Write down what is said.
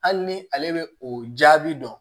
Hali ni ale bɛ o jaabi dɔn